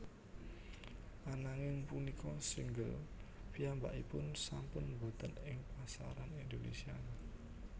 Ananging punika single piyambakipun sampun wonten ing pasaran Indonesia